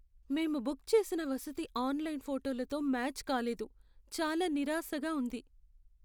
మేము బుక్ చేసిన వసతి ఆన్లైన్ ఫోటోలతో మ్యాచ్ కాల్లేదు, చాలా నిరాశగా ఉంది.